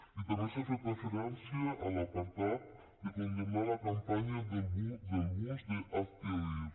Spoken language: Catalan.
i també s’ha fet referència a l’apartat de condemnar la campanya del bus d’hazte oír